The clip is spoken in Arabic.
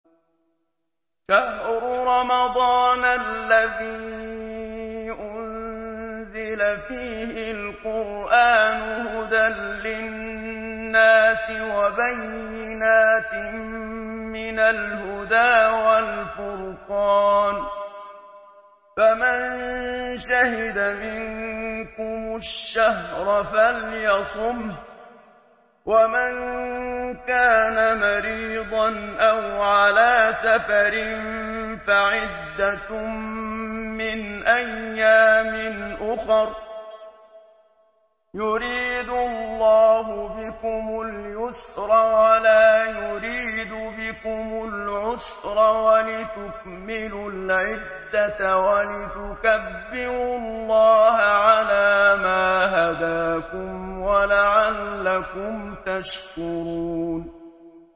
شَهْرُ رَمَضَانَ الَّذِي أُنزِلَ فِيهِ الْقُرْآنُ هُدًى لِّلنَّاسِ وَبَيِّنَاتٍ مِّنَ الْهُدَىٰ وَالْفُرْقَانِ ۚ فَمَن شَهِدَ مِنكُمُ الشَّهْرَ فَلْيَصُمْهُ ۖ وَمَن كَانَ مَرِيضًا أَوْ عَلَىٰ سَفَرٍ فَعِدَّةٌ مِّنْ أَيَّامٍ أُخَرَ ۗ يُرِيدُ اللَّهُ بِكُمُ الْيُسْرَ وَلَا يُرِيدُ بِكُمُ الْعُسْرَ وَلِتُكْمِلُوا الْعِدَّةَ وَلِتُكَبِّرُوا اللَّهَ عَلَىٰ مَا هَدَاكُمْ وَلَعَلَّكُمْ تَشْكُرُونَ